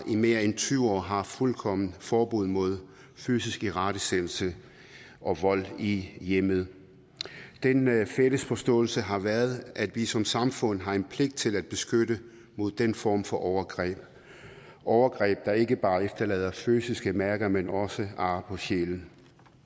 i mere end tyve år har fuldkommen forbud mod fysisk irettesættelse og vold i hjemmet den fælles forståelse har været at vi som samfund har en pligt til at beskytte mod den form for overgreb overgreb der ikke bare efterlader fysiske mærker men også ar på sjælen